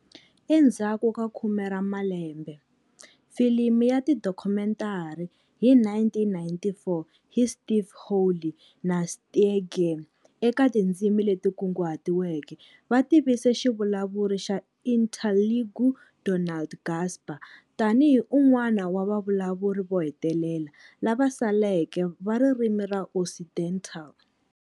Endzhaku ka khume ra malembe, filimi ya tidokhumentari hi 1994 hi Steve Hawley na Steyger eka tindzimi leti kunguhatiweke va tivise xivulavuri xa Interlingue Donald Gasper tanihi"un'wana wa vavulavuri vo hetelela lava saleke va ririmi ra Occidental".